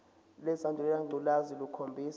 lesandulela ngculazi lukhombisa